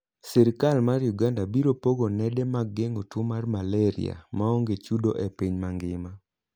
Sirkal mar Uganda biro pogo nende mag geng'o tuo mar malaria maonge chudo e piny mangima.